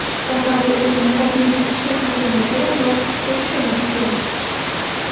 Sababi u niqobning ichki qatlamiga dog‘ tushirishi mumkin.